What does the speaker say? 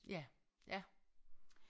Ja ja